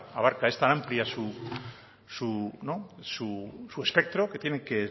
abarca esta amplia su espectro que tiene que